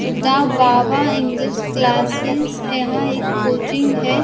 और the Baba English classes यहां एक कोचिंग है।